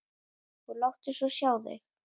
Og láttu svo sjá þig.